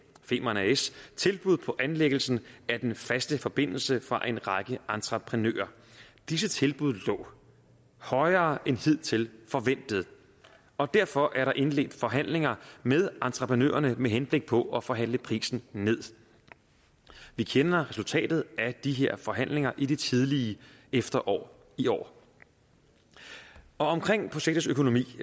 femern as tilbud på anlæggelsen af den faste forbindelse fra en række entreprenører disse tilbud lå højere end hidtil forventet og derfor er der indledt forhandlinger med entreprenørerne med henblik på at forhandle prisen nederst vi kender resultatet af de her forhandlinger i det tidlige efterår i år og omkring projektets økonomi